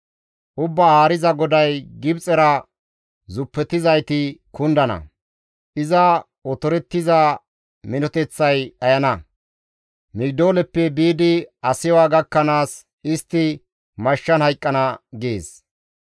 «Ubbaa Haariza GODAY, ‹Gibxera zuppetizayti kundana; iza otorettiza minoteththay dhayana; Migidooleppe biidi Asiwa gakkanaas, istti mashshan hayqqana› gees.